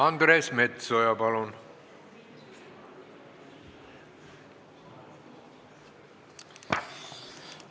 Andres Metsoja, palun!